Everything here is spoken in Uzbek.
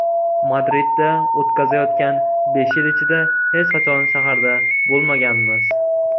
Madridda o‘tkazayotgan besh yil ichida hech qachon shaharda bo‘lmaganmiz.